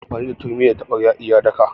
Ana amfani da turmi da taɓarya a yi daka.